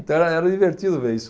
Então era, era divertido ver isso.